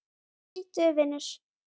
Flýttu þér, vinur.